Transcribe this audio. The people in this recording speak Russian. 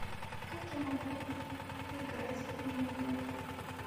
как я могу поиграть в мини гольф